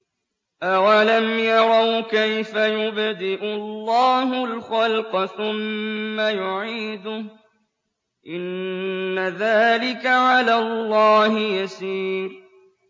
أَوَلَمْ يَرَوْا كَيْفَ يُبْدِئُ اللَّهُ الْخَلْقَ ثُمَّ يُعِيدُهُ ۚ إِنَّ ذَٰلِكَ عَلَى اللَّهِ يَسِيرٌ